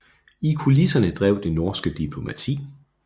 I kulisserne drev det norske diplomati